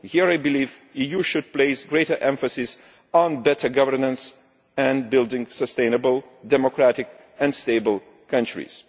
Here I believe the EU should place greater emphasis on better governance and building sustainable, democratic and stable countries.